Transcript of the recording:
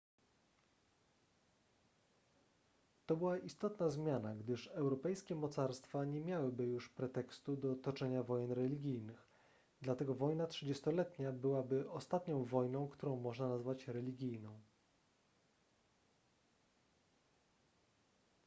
to była istotna zmiana gdyż europejskie mocarstwa nie miałyby już pretekstu do toczenia wojen religijnych dlatego wojna trzydziestoletnia byłaby ostatnią wojną którą można nazwać religijną